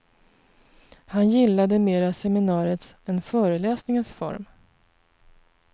Han gillade mera seminariets än föreläsningens form.